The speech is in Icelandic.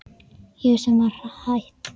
Ég sem var hætt.